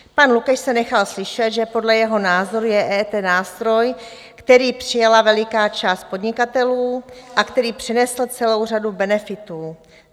Pan Lukeš se nechal slyšet, že podle jeho názoru je EET nástroj, který přijala veliká část podnikatelů a který přinesl celou řadu benefitů.